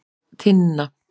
Tinna